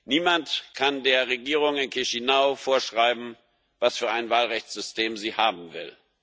Niemand kann der Regierung in Chișinău vorschreiben, was für ein Wahlrechtssystem sie haben will.